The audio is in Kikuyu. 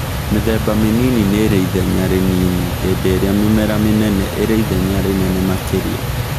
Mĩthemba mĩnini nĩrĩithenya rĩnini hĩndĩ ĩrĩa mĩmera mĩnene ĩrĩ ithenya rĩnene makĩria